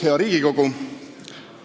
Hea Riigikogu!